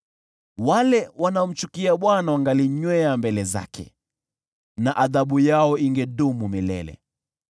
Wale wanaomchukia Bwana wangalinyenyekea mbele zake, na adhabu yao ingedumu milele.